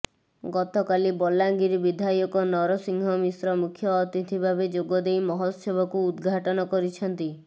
ଗତକାଲି ବଲାଙ୍ଗିର ବିଧାୟକ ନରସିଂହ ମିଶ୍ର ମୁଖ୍ୟ ଅତିଥି ଭାବେ ଯୋଗଦେଇ ମହୋତ୍ସବକୁ ଉଦ୍ଘାଟନ କରିଛନ୍ତି